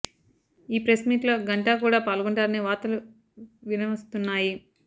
ఈ press meet లో గంటా కూడా పాల్లొంటారని వార్తలు వినవస్తున్నాయి